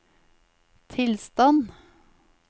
tilstand